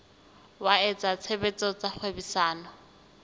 wa etsa tshebetso tsa kgwebisano